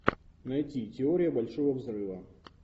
найти теория большого взрыва